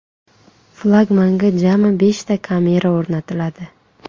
Flagmanga jami beshta kamera o‘rnatiladi.